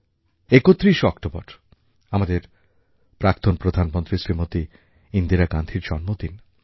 আগামী ৩১শে অক্টোবর আমাদের প্রাক্তন প্রধানমন্ত্রী শ্রীমতী ইন্দিরা গান্ধীর প্রয়াণ দিবস